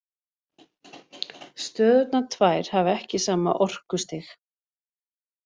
Stöðurnar tvær hafa ekki sama orkustig.